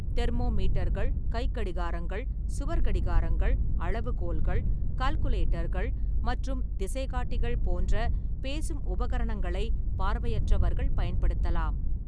தெர்மோமீட்டர்கள், கைக்கடிகாரங்கள், சுவர் கடிகாரங்கள், அளவுகோல்கள், கால்குலேட்டர்கள் மற்றும் திசைகாட்டிகள் போன்ற பேசும் உபகரணங்களை பார்வையற்றவர்கள் பயன்படுத்தலாம்.